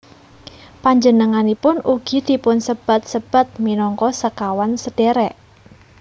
Panjenenganipun ugi dipunsebat sebat minangka Sekawan Sedhèrèk